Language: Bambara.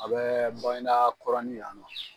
A bɛ Baginda kɔrɔnin yan nɔ.